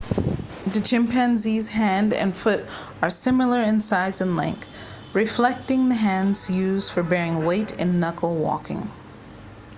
the chimpanzee's hand and foot are similar in size and length reflecting the hand's use for bearing weight in knuckle walking